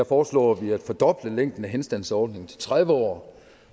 foreslår vi at fordoble længden af henstandsordningen til tredive år